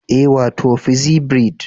Ee, wato pixie braid